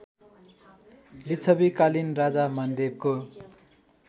लिच्छविकालीन राजा मानदेवको